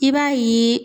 I b'a ye